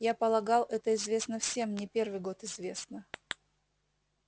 я полагал это известно всем не первый год известно